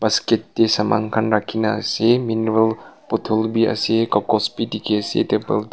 basket tae saman khan rakhina ase mineral bottle bi ase kakos bi dikhiase table te--